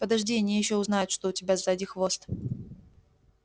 подожди они ещё узнают что у тебя сзади хвост